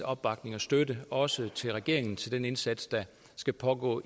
opbakning og støtte også til regeringen til den indsats der skal pågå